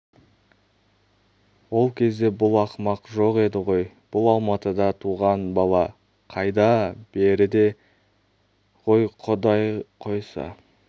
ол кезде бұл ақымақ жоқ еді ғой бұл алматыда туған бала қайда-а-а беріде ғой құдай қойса